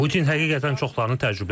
Putin həqiqətən çoxlarını təəccübləndirib.